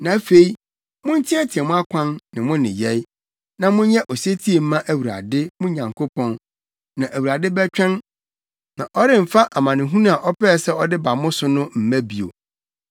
Na afei monteɛteɛ mo akwan ne mo nneyɛe, na monyɛ osetie mma Awurade, mo Nyankopɔn. Na Awurade bɛtwɛn, na ɔremfa amanehunu a ɔpɛɛ sɛ ɔde ba mo so no mma bio.